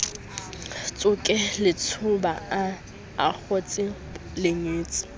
tsoke letjhoba a akgotse lengetse